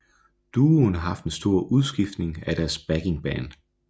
Duoen har haft en stor udskiftning af deres backingband